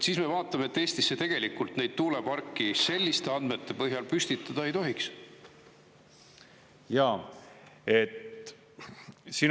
Siis me vaatame, et Eestisse tegelikult neid tuuleparke selliste andmete põhjal püstitada ei tohiks.